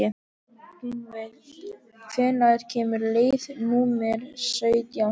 Gunnveig, hvenær kemur leið númer sautján?